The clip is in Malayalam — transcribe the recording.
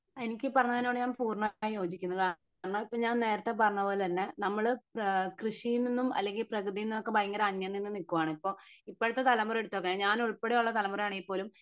എനിക്ക് ഈ പറഞ്ഞതിനോട് ഞാൻ പൂർണമായും യോജിക്കുന്നു കാരണം എന്താന്ന് വെച്ച് കഴിഞ്ഞാ നേരത്തെ പറഞ്ഞപോലെന്നെ നമ്മൾ കൃഷിയിൽ നിന്നും അല്ലെങ്കി പ്രകൃതിനൊക്കെ ഭയങ്കര അന്യം നിന്ന് നിക്കുവാന് ഇപ്പൊ ഇപ്പോഴത്തെ തലമുറ എടുത്ത് നോക്കെ ഞാൻ ഉൾപ്പടെ ഉള്ള തലമുറ ആണെങ്കി പോലും